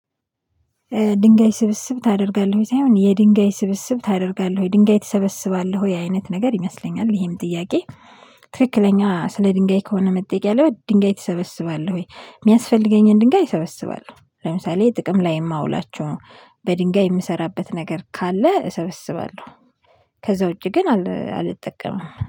ድንጋይ ስብስብ ታደርጋለህ ወይ ሳይሆን የድንጋይ ስብስብ ታደርጋለህ ወይ ድንጋይ ትሰበስባለህ ወይ አይነት ነገር ይመስለኛል ይሄም ጥያቄ? ትክክለኛ ስለ ድንጋይ ከሆነ መጠየቅ ያለበት ድንጋይ ትሰበስባለህ ወይ? የሚያስፈልገኝን ድንጋይ እሰበስባለሁ ለምሳሌ ጥቅም ላይ የማውላቸው ነው በድንጋይ የምሰራበት ነገር ካለ እሰበስባለሁ። ከዛ ውጪ ግን አልጠቀምም